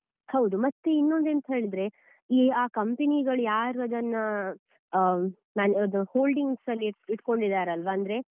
ಹೌದು ಮತ್ತೆ ಇನ್ನೊಂದೆಂತ ಹೇಳಿದ್ರೆ ಈ ಆ company ಗಳು ಯಾರು ಅದನ್ನ holding ಸಲ್ಲಿ ಇಟ್ಕೊಂಡಿದ್ದಾರಲ್ವಾ, ಅಂದ್ರೆ